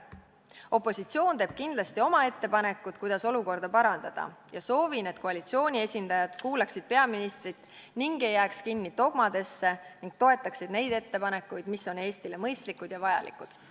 Opositsioon teeb kindlasti oma ettepanekud, kuidas olukorda parandada, ja soovin, et koalitsiooni esindajad kuulaksid peaministrit ning ei jääks kinni dogmadesse ning toetaksid neid ettepanekuid, mis on Eestile mõistlikud ja vajalikud.